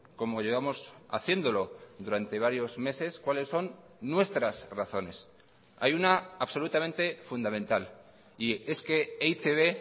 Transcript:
como llevamos haciéndolo durante varios meses cuáles son nuestras razones hay una absolutamente fundamental y es que e i te be